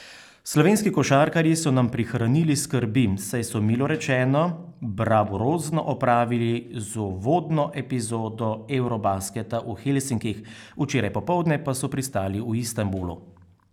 Slovenski košarkarji so nam prihranili skrbi, saj so milo rečeno bravurozno opravili z uvodno epizodo eurobasketa v Helsinkih, včeraj popoldne pa so pristali v Istanbulu.